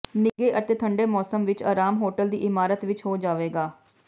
ਨਿੱਘੇ ਅਤੇ ਠੰਡੇ ਮੌਸਮ ਵਿੱਚ ਆਰਾਮ ਹੋਟਲ ਦੀ ਇਮਾਰਤ ਵਿੱਚ ਹੋ ਜਾਵੇਗਾ